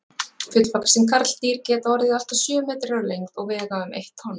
Fullvaxin karldýr geta orðið allt að sjö metrar á lengd og vega um eitt tonn.